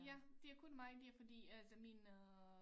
Ja det er kun mig dér fordi altså min øh